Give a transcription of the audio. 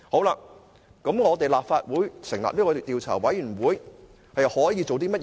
那麼立法會成立專責委員會可以做甚麼？